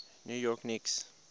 new york knicks